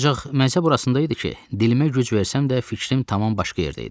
Ancaq məcə burasında idi ki, dilimə güc versəm də, fikrim tamam başqa yerdə idi.